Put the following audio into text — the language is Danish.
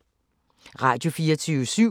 Radio24syv